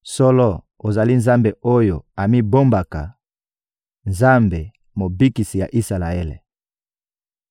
Solo, ozali Nzambe oyo amibombaka, Nzambe, Mobikisi ya Isalaele!